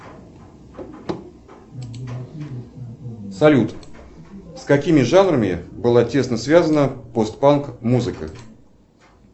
салют с какими жанрами была тесно связана пост панк музыка